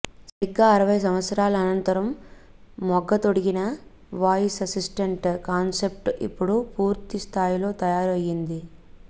సరిగ్గా అరవై సంవత్సరాల అనంతరం మొగ్గ తొడిగిన వాయిస్ అసిస్టెంట్ కాన్సెప్ట్ ఇప్పుడు పూర్తి స్థాయిలో తయారు అయ్యింది